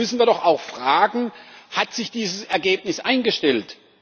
Da müssen wir doch auch fragen Hat sich dieses Ergebnis eingestellt?